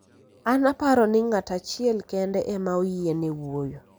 an aparo ni ng'at achiel kende ema oyiene wuoyo